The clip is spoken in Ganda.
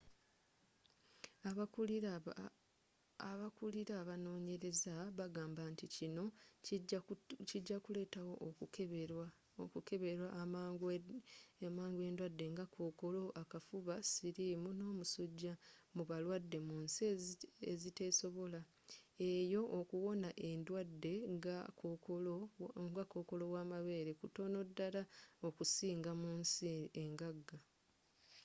abakulira abanoonyereza bagamba nti kino kijakuleetawo okukeberwa amangu endwadde nga kookolo akafuba sirimu n'omusuja mu balwadde munsi eziteesobola eyo okuwona endwadde nga kokoolo wamabeere kutono ddala okusinga munsi engaga